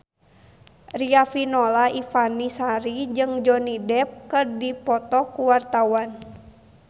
Riafinola Ifani Sari jeung Johnny Depp keur dipoto ku wartawan